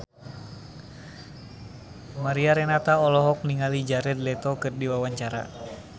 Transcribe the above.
Mariana Renata olohok ningali Jared Leto keur diwawancara